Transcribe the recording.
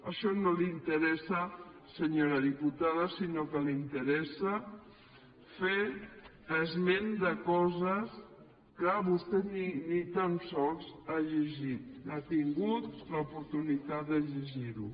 això no l’interessa senyora diputada sinó que l’interessa fer esment de coses que vostè ni tan sols ha llegit ha tingut l’oportunitat de llegir ho